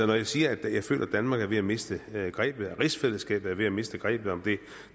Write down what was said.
når jeg siger at jeg føler at danmark er ved at miste grebet at rigsfællesskabet er ved at miste grebet om det